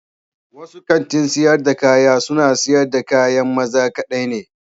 Wasu kanti sayar da kaya suna siyar da kayan maza kaɗai ne.